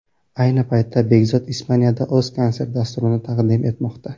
Ayni paytda Bekzod Ispaniyada o‘z konsert dasturini taqdim etmoqda.